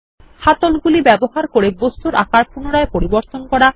হ্যান্ডলগুলি ব্যবহার করে বস্তুর আকার পুনরায় পরিবর্তন করা